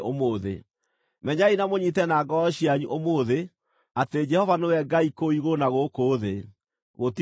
Menyai na mũnyiite na ngoro cianyu ũmũthĩ atĩ Jehova nĩwe Ngai kũu igũrũ na gũkũ thĩ. Gũtirĩ ũngĩ.